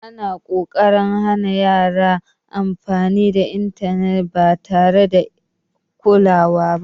Ana ƙoƙarin hana yaran amfani da intanet ba tare da kulawa ba.